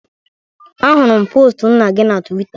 Ahụrụ m postu nna gị na Tuweeta